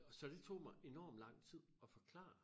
Så det tog mig enormt lang tid at forklare